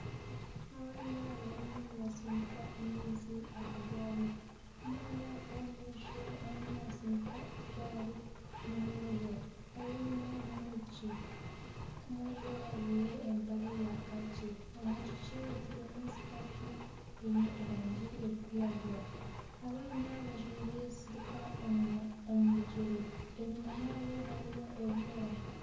Abaana barimu nibatsindika amaizi aha gaari omwana ow'omu maisho arimu naatsindika egaari n'omwojo ow'enyima n'omwishiki, omwojo ajwaire empare ya kaaki omwishiki atairemu sikati eine erangi erikwiragura abaana bajwaire siripa omu bigyere enyuma yaabo hariyo ebimera